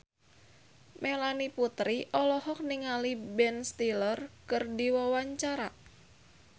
Melanie Putri olohok ningali Ben Stiller keur diwawancara